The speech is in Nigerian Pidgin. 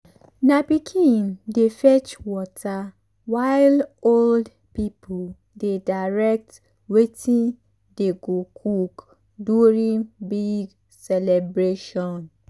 na pikin dey fetch water while old people dey direct wetin dey go cook during big celebration.